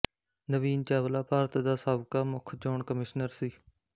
ਨਵੀਨ ਚਾਵਲਾ ਭਾਰਤ ਦਾ ਸਾਬਕਾ ਮੁੱਖ ਚੋਣ ਕਮਿਸ਼ਨਰ ਸੀ